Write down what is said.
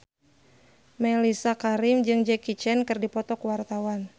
Mellisa Karim jeung Jackie Chan keur dipoto ku wartawan